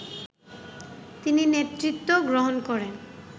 তিনি নেতৃত্ব গ্রহণ করেন